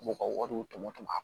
U ka wariw tɔmɔ tɔmɔ